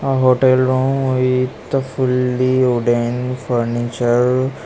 A hotel room with a fully wooden furniture.